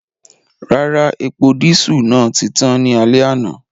Rara, epo disu naa ti tan ni alẹ ana.